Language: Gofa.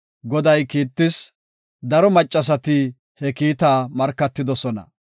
Goday kiittis; daro Maccasati he kiitaa markatidosona.